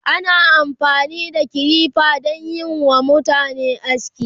ana amfani da kilifa danyi WA mutane aski